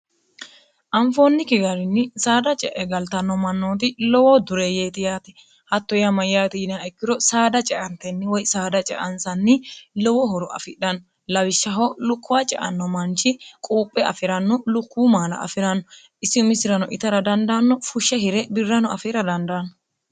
anfoonni kigarinni saada ce'e galtanno mannooti lowoo duree yeeti yaate hatto yaamayyaati yinaa ikkiro saada ceantenni woy saada ceansanni lowo horo afidhanno lawishshaho lukkuwa ceanno manchi quuphe afi'ranno lukkuu maala afi'ranno isi misirano itara dandaanno fushshe hire birrano afiira dandaanno